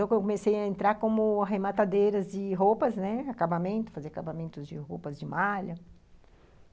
Eu comecei a entrar como arrematadeira de roupas, né, fazer acabamentos de roupas, de malha.